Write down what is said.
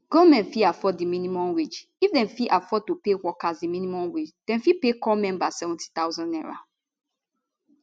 goment fit afford di minimum wage if dem fit afford to pay workers di minimum wage dem fit pay corps members 70000 naira